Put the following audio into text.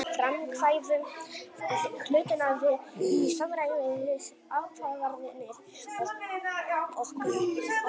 Við framkvæmum hlutina í samræmi við ákvarðanir okkar og berum ábyrgð á verkum okkar.